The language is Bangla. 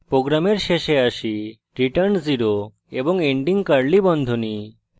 program শেষে আসি return 0 এবং ending curly বন্ধনী